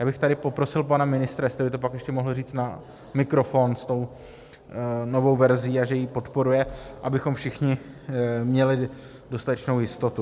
Já bych tady poprosil pana ministra, jestli by to pak ještě mohl říct na mikrofon s tou novou verzí, a že ji podporuje, abychom všichni měli dostatečnou jistotu.